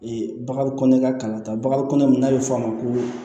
baga kɔnɔ ka kalan ta baga kɔnɔ n'a bɛ f'o ma ko